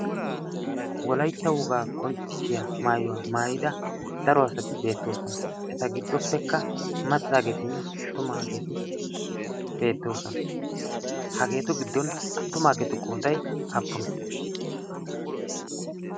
wollaytta wogaa qonccisiyaa mayuwaa maayida daro asati bettoosona. eta giddopeekka maccagetinne attumaageti beettoosona. hageetu giddon attumaagetu qooday aapunee?